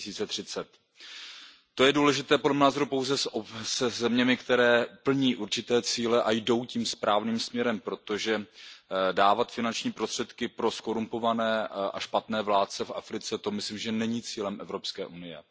2030. To je důležité podle mého názoru pouze se zeměmi, které plní určité cíle a jdou tím správným směrem, protože dávat finanční prostředky pro zkorumpované a špatné vládce v Africe, to myslím, že není cílem Evropské unie.